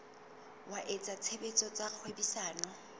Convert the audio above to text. wa etsa tshebetso tsa kgwebisano